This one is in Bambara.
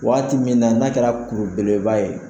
Waati min na n'a kɛra kuru beleba ye.